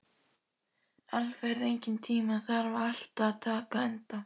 Alfreð, einhvern tímann þarf allt að taka enda.